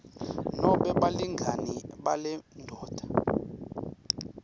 nobe balingani balendvodza